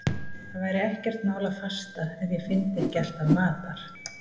Það væri ekkert mál að fasta ef ég fyndi ekki alltaf matar